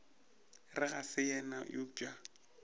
re ga se yena eupša